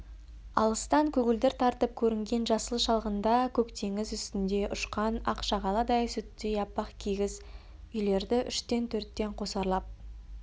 алыстан көгілдір тартып көрінген жасыл шалғында көк теңіз үстінде ұшқан ақ шағаладай сүттей аппақ кигіз үйлерді үштен-төрттен қосарлап